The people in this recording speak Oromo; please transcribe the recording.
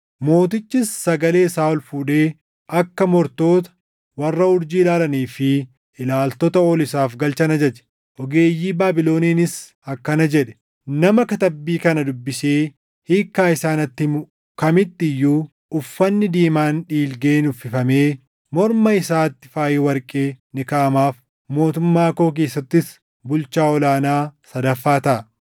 Mootichis sagalee isaa ol fuudhee akka mortoota, warra urjii ilaalanii fi ilaaltota ol isaaf galchan ajaje. Ogeeyyii Baabiloniinis akkana jedhe; “Nama katabbii kana dubbisee hiikkaa isaa natti himu kamitti iyyuu uffanni diimaan dhiilgeen uffifamee morma isaatti faayi warqee ni kaaʼamaaf; mootummaa koo keessattis bulchaa ol aanaa sadaffaa taʼa.”